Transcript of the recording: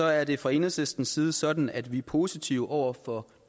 er det fra enhedslistens side sådan at vi er positive over for